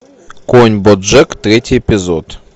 конь боджек третий эпизод